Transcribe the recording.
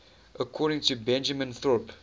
according to benjamin thorpe